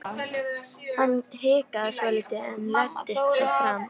Hann hikaði svolítið en læddist svo fram.